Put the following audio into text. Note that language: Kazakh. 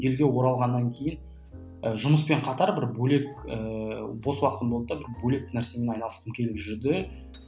елге оралғаннан кейін і жұмыспен қатар бір бөлек ііі бос уақытым болды да бір бөлек нәрсемен айналысқым келіп жүрді